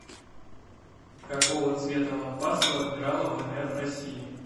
какого цвета лампасы у адмирала вмф россии